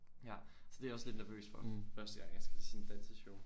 Ja så det er jeg også lidt nervøs for første gang jeg skal til sådan et danseshow